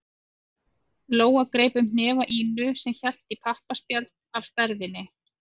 Lóa greip um hnefa Ínu sem hélt í pappaspjald af stærðinni